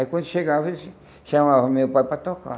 Aí, quando chegava, eles chamavam o meu pai para tocar.